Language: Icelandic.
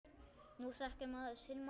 Nú þekkir maður sinn mann.